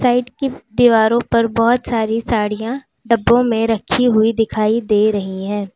Side की दीवारों पर बहुत सारी साड़ियां डब्बों में रखी हुई दिखाई दे रही हैं।